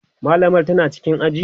mallamar tana cikin aji?